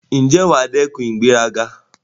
Ǹjẹ́ wà á dẹ́kun ìgbéraga?